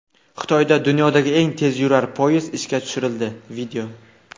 Xitoyda dunyodagi eng tezyurar poyezd ishga tushirildi.